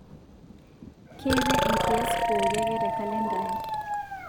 keetae enkiyas pooki ake te kalenda aai